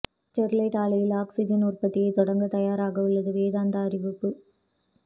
Sterlite ஆலையில் oxygen உற்பத்தியை தொடங்க தயாராக உள்ளதாக வேதாந்தா அறிவிப்பு